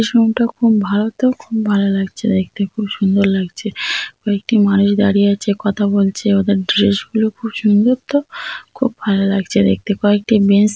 Room -টা খুব ভালো তো খুব ভালো লাগছে দেখতে খুব সুন্দর লাগছে। কয়েকটি মানুষ দাঁড়িয়ে আছে কথা বলছে ওদের ড্রেস -গুলো খুব সুন্দর তো। খুব ভালো লাগছে দেখতে। কয়েকটি বেঞ্চ --